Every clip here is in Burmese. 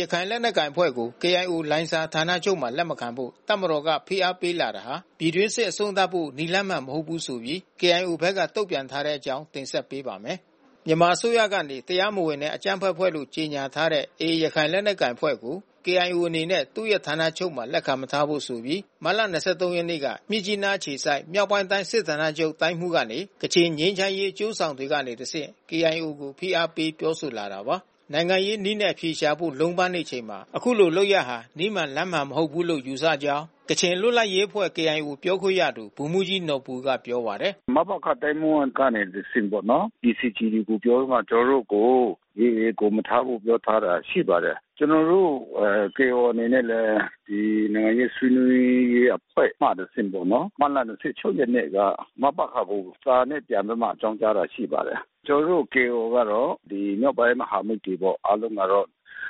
ရခိုင်လက်နက်ကိုင်အဖွဲ့ကို KIO လိုင်ဇာဌာနချုပ်မှာ လက်မခံဖို့ တပ်မတော်က ဖိအားပေးလာတာဟာ ပြည်တွင်းစစ်အဆုံးသတ်ဖို့ နည်းလမ်းမှန်မဟုတ်ဆိုပြီး KIO ဘက်က တုံ့ပြန်ထားတဲ့ အကြောင်း တင်ဆက်ပေးပါမယ်။ ဒီအကြောင်း ကိုနိုင်ကွမ်းအိန် သတင်းပေးပို့ထားပါတယ်။ မြန်မာအစိုးရကနေ တရားမဝင်နဲ့ အကြမ်းဖက်အဖွဲ့လို့ ကြေညာထားတဲ့ AA ရခိုင်လက်နက်ကိုင်အဖွဲ့ကို KIO အနေနဲ့ သူ့ဌာနချုပ်မှာ လက်ခံမထားဖို့ဆိုပြီး မတ်လ ၂၃ ရက်နေ့က မြစ်ကြီးနားအခြေစိုက်မြောက်ပိုင်းတိုင်း စစ်ဌာနချုပ်တိုင်းမှူးကနေ ကချင်ငြိမ်းချမ်းရေး အကျိုးဆောင်တွေကနေတဆင့် KIO ကို ဖိအားပေးပြောဆိုလာတာပါ။ နိုင်ငံရေးနည်းနဲ့ အဖြေရှာဖို့ လုံးပမ်းနေချိန်မှာ အခုလို လုပ်ရပ်ဟာ နည်းမှန်လမ်းမှန်မဟုတ်ဘူးလို့ ယူဆတဲ့အကြောင်း ကချင်အမျိုးသားလွတ်လပ်ရေးအဖွဲ့ KIO ပြောခွင့်ရသူ ဗိုလ်မှူးကြီး နော်ဘူကပြောပါတယ်။ “မတ်လ၂၆ ရက်နေ့က မပခကို စာနဲ့ ပြန်ပြီးတော့ အကြောင်းကြားတာ ရှိပါတယ်။ ကျနော်တို့ KIO ကတော့ မြောက်ပိုင်းမဟာမိတ်တွေပေါ့။ အားလုံးမှာတော့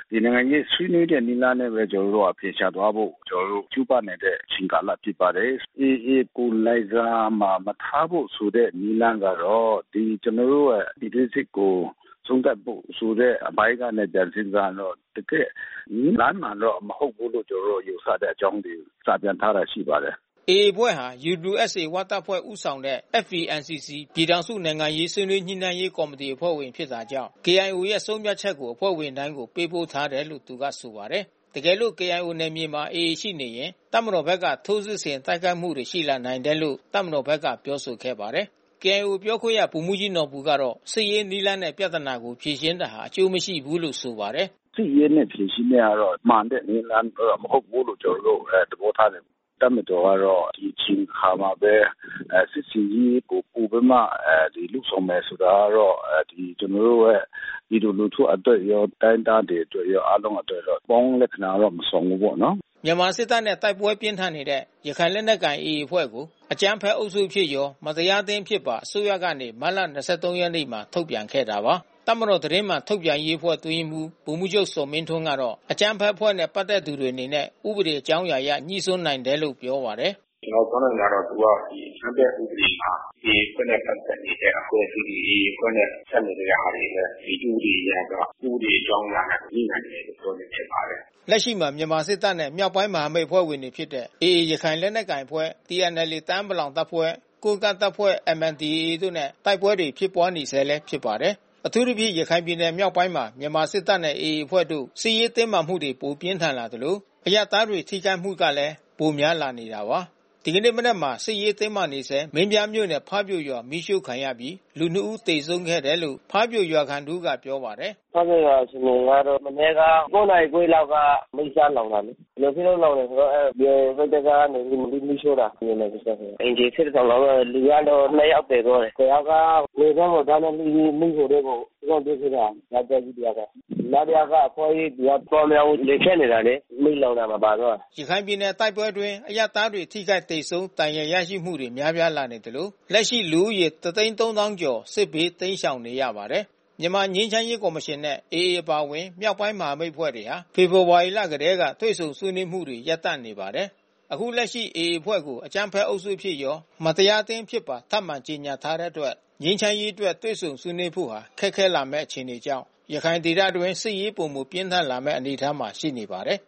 ဒီနိုင်ငံရေး ဆွေးနွေးတဲ့နည်းလမ်းနဲ့ပဲ ကျနော်တို့က အဖြေရှာသွားဖို့ ကျနော်တို့ ကြိုးပမ်းနေတဲ့ အချိန်ကာလဖြစ်ပါတယ်။ AA ကို လိုင်ဇာမှာ မထားဖို့ဆိုတဲ့ နည်းလမ်းကတော့ ကျနော်တို့ရဲ့ ပြည်တွင်းစစ်ကို အဆုံးသတ်ဖို့ဆိုတဲ့ အပိုင်းကနဲ့ ပြန်စဉ်းစားရင်တော့ တကယ့်နည်းလမ်းမှန်တော့မဟုတ်ဘူးလို့ ကျနော်တို့ ယူဆတဲ့အကြောင်းတွေ စာပြန်ထားတာ ရှိပါတယ်။” AA အဖွဲ့ဟာ UWSA ဝတပ်ဖွဲ့ဦးဆောင်တဲ့ FPNCC ပြည်ထောင်စု နိုင်ငံရေးဆွေးနွေးညှိနှိုင်ရေးကော်မီတီ အဖွဲ့ဝင်ဖြစ်တာကြောင့် KIO ရဲ့ဆုံးဖြတ်ချက်ကို အဖွဲ့ဝင်တိုင်းကို ပေးပို့ထားတယ်လို့ သူကဆိုပါတယ်။ တကယ်လို့ KIO နယ်မြေမှာ AA ရှိရင် တပ်မတော်ဘက်က ထိုးစစ်ဆင်တိုက်ခိုက်မှုတွရှိလာနိုင်တယ်လို့ တပ်မတော်ဘက်က ပြောဆိုခဲ့ပါတယ်။ KIO ပြောခွင့်ရ ဗိုလ်မှူးကြီးနော်ဘူကတော့ စစ်ရေးနည်းလမ်းနဲ့ ပြဿနာကို ဖြေရှင်းတာဟာ အကျိုးမရှိဘူးလို့ ဆို ပါတယ်။ “စစ်ရေးနဲ့ ဖြေရှင်းတဲ့ကတော့ မှန်တဲ့နည်းလမ်း မဟုတ်ဘူးလို့ ကျနော်တို့ သဘောထားတယ်။ တပ်မတော်ကတော့ ဒီအချိန်ခါမှာပဲ စစ်ဆင်ရေးကိုပိုပြီးမှ လုပ်ဆောင်မယ်ဆိုတာကတော့ ကျနော်တို့ရဲ့ ပြည်သူလူထုအတွက်ရော တိုင်းရင်းသားတွေအတွက်ရော အားလုံးအတွက် အပေါင်းလက္ခဏာတော့ မဆောင်ဘူးပေါ့နော်။” မြန်မာစစ်တပ်နဲ့ တိုက်ပွဲပြင်းထန်နေတဲ့ ရခိုင်လက်နက်ကိုင် AA အဖွဲ့ကို အကြမ်းဖက်အုပ်စုအဖြစ်ရော၊ မတရားအသင်း အဖြစ်ပါ အစိုးရကနေ မတ်လ ၂၃ ရက်နေ့မှာ ထုတ်ပြန်ခဲ့တာပါ။ တပ်မတော်သတင်းမှန်ထုတ်ပြန်ရေးအဖွဲ့ အတွင်းရေးမှူးဗိုလ်မှူးချုပ်ဇော်မင်းထွန်းကတော့ အကြမ်းဖက်အဖွဲ့နဲ့ ပတ်သက်သူတွေအနေနဲ့ ဥပဒေအကြောင်းအရာအရ ငြိစွန်းနိုင်တယ်လို့ပြောပါတယ်။ “ကျနော်ပြောနိုင်တာကတော့ ဒီအကြမ်းဖက်ဥပဒေမှာ AA အဖွဲ့နဲ့ ပတ်သက်နေတဲ့အဖွဲ့အစည်းတွေ AA အဖွဲ့နဲ့ ပတ်သက် နေတဲ့ဟာတွေလဲ ဒီဥပဒေအရက ဥပဒေအကြောင်းအရာနဲ့ ငြိနိုင်တယ်လို့ပြောချင်တယ်။” လက်ရှိမှာ မြန်မာစစ်တပ်နဲ့ မြောက်ပိုင်းမဟာမိတ်အဖွဲ့ဝင်တွေဖြစ်တဲ့ AA ရခိုင်လက်နက်ကိုင်အဖွဲ့ TNLA တအာင်း ပလောင်တပ်ဖွဲ့ ကိုးကန့် အဖွဲ့ MNDAA တို့နဲ့ တိုက်ပွဲတွေဖြစ်ပွါးနေဆဲလည်း ဖြစ်ပါတယ်။ အထူးသဖြင့် ရခိုင်ပြည်နယ်မြောက်ပိုင်းမှာ မြန်မာစစ်တပ်နဲ့ AA အဖွဲ့တို့ စစ်ရေးတင်းမာမှုပိုပြင်းထန်လာသလို အရပ်သားတွေ ထိခိုက်မှုကလည်း ပိုများလာနေတာပါ။ ဒီနေ့မနက်မှာ စစ်ရေးတင်းမာနေဆဲ မင်းပြားမြို့နယ် ဖါးမြိုရွာမှာ မီးရှှို့ခံရပြီး လူ၂ ဦးသေဆုံးခဲ့တယ်လို့ ဖါးပြိုရွာခံတဦးက ပြောပါတယ်။ “ဖါးပြိုရွာအခြေအနေကတော့ မနက်က ၉ နာရီခွဲလောက်က မီးစလောင်တာလေ။ ဘာဖြစ်လို့လောင်တာလဲဆိုတော့ BIA ဘက်ကနေပြီးတော့ မီးရှှို့တာ။ မြန်မာစစ်တပ်ဘက်က။ အိမ်ခြေ ၁၁ ဆောင် လောင်သွားတယ်။ လူကတော့ ၂ ယောက် သေသွားတယ်။ တယောက်က လည်ပင်းကိုဒါးနဲ့လှီးပြီး မီးပုံထဲကို လွှင့်ပစ် ပစ်တာ။ တပ်ကြပ်ကြီး တယောက်က။ နောက်တယောက်က အဖွါးကြီး သူကသွားမရဘူး။ လေဖြတ်နေတာလေ။ မီးလောင်တာမှာပါ သွားတာ။” ရခိုင်ပြည်နယ်တိုက်ပွဲအတွင်း အရပ်သားတွေ ထိခိုက်သေဆုံးဒဏ်ရာ ရရှိမှုတွေ များပြားလာနေသလို လက်ရှိလူဦးရေ ၁၃၀,၀၀၀ ကျော် စစ်ဘေးတိမ်းရှောင်နေရပါတယ်။ မြန်မာငြိမ်းချမ်းရေးကော်မရှင်နဲ့ AA အပါဝင် မြောက်ပိုင်းမဟာမိတ်အဖွဲ့တွေဟာ ဖေဖေါ်ဝါရီလကတည်းက တွေ့ဆုံ ဆွေးနွေးမှု ရပ်တန့်နေပါတယ်။ အခုလက်ရှိ AA အဖွဲ့ကို အကြမ်းဖက်အုပ်စုအဖြစ်ရော၊ မတရားအသင်း အဖြစ်ပါ ထပ်မံကြေညာ ထားတဲ့အတွက် ြငိမ်း ချမ်းရေးအတွက် တွေ့ဆုံဆွေးနွေးဖို့ဟာ ခက်ခဲလာမဲ့အခြေအနေကြောင့် ရခိုင်ဒေသအတွင်း စစ်ရေးပိုမိုပြင်းထန်လာမဲ့ အနေအထားမှာ ရှိနေပါတယ်။